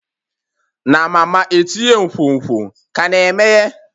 Na mama etinye nkwonkwo ka na-emeghe?